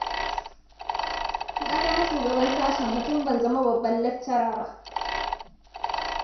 Na zama shugaban sashenmu tun ban zama babban laccara ba.